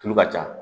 Tulu ka ca